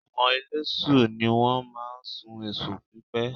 Àwọn eléṣù ni wọ́n máa ń sun èṣùpípè